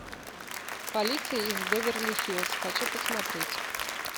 полиция из беверли хиллз хочу посмотреть